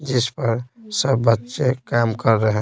जिस पर सब बच्चे काम कर रहे--